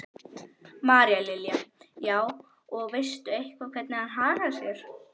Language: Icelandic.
María Lilja: Já, og veistu eitthvað hvernig hann hagar sér?